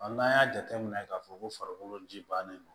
n'an y'a jateminɛ k'a fɔ ko farikolo ji bannen no